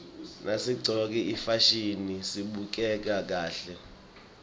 nasiqcoke ifasihni sibukeka kahle